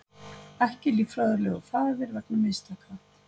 Ekki líffræðilegur faðir vegna mistaka